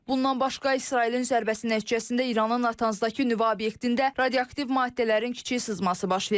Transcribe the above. Bundan başqa İsrailin zərbəsi nəticəsində İranın Natanzdakı nüvə obyektində radioaktiv maddələrin kiçik sızması baş verib.